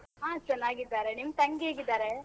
ಹಾ, ಚನ್ನಾಗಿದ್ದಾರೆ. ನಿಮ್ ತಂಗಿ ಹೇಗಿದ್ದಾರೆ?